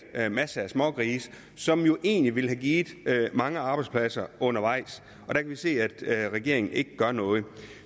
masser af smågrise som jo egentlig ellers ville have givet mange arbejdspladser undervejs der kan vi se at regeringen ikke gør noget